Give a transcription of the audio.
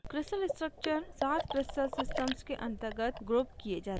crystal structures सात crystal systems के अंतर्गत grouped किये जाते हैं